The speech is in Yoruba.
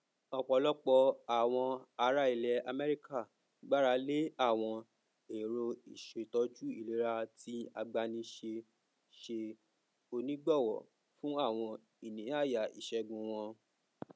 ọpọlọpọ àwọn ará ilẹ amẹríkà gbarale àwọn èrò ìṣètòjú ìlera tí agbánisẹ ṣe onígbàwọ fún àwọn ìníáyà iṣègùn wọn